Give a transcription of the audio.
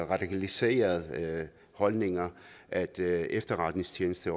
radikaliserede holdninger at at efterretningstjenesten